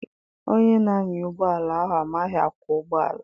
Onye na-anya ụgbọala ahụ amaghị akwọ ụgbọala.